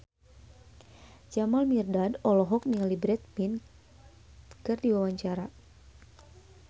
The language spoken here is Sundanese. Jamal Mirdad olohok ningali Brad Pitt keur diwawancara